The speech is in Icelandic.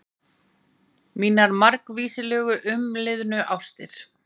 Mínar margvíslegu umliðnu ástir.